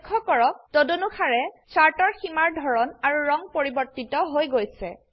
লক্ষ্য কৰক তদনুসাৰে চাৰ্টৰ সীমাৰ ধৰন আৰু ৰং পৰিবৰ্তিত হৈ গৈছে